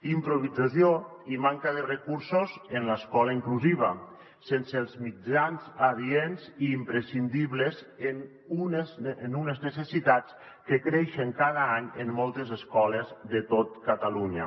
improvisació i manca de recursos en l’escola inclusiva sense els mitjans adients i imprescindibles en unes necessitats que creixen cada any en moltes escoles de tot catalunya